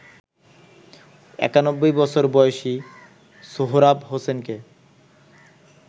৯১ বছর বয়সী সোহরাব হোসেনকে